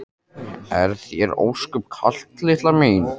Er þér ósköp kalt litla mín?